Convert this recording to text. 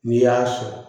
N'i y'a sɔrɔ